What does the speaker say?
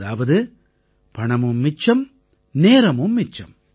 அதாவது பணமும் மிச்சம் நேரமும் மிச்சம்